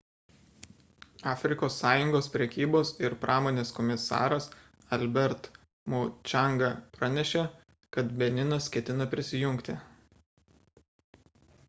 afrikos sąjungos prekybos ir pramonės komisaras albert muchanga pranešė kad beninas ketina prisijungti